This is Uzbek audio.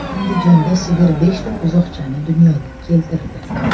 Andijonda sigir beshta buzoqchani dunyoga keltirdi.